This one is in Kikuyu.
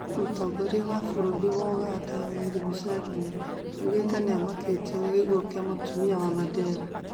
Mũtongoria wa bũrũri wa Uganda Yoweri Museveni augĩte nĩamakitue nĩ gĩkuo kĩa Mũtumia Mandela